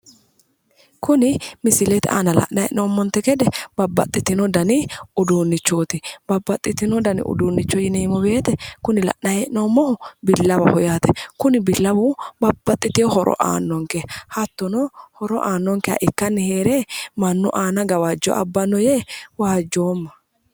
Kuni misilete aana la'nayi hee'noommonte gede babbaxxitino dani uduunnichooti. Babbaxxitino dani uduunnicho yineemmo woyite kuni la'nayi hee'noommohu billawaho yaate. Kuni billawu babbaxxitiwo horo aannonke. Hattono horo aannonkeha ikkanni heere mannu aana gawajjo abbanno yee wasjjoomma.